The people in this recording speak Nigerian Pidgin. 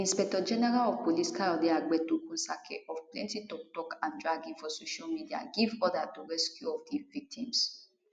di inspectorgeneral of police kayode egbetokun sake of plenti toktok and dragging for di social media give order to rescue of di victims